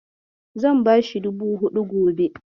Zan bashi dubu huɗu gobe.